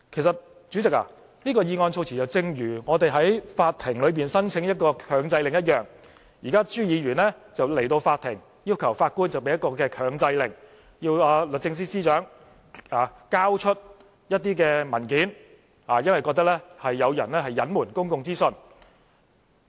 主席，這份議案措辭正如我們向法庭申請強制令一樣，現在朱議員來到法庭，要求法官頒布強制令，要求律政司司長交出一些文件，因為他認為有人隱瞞公共資訊。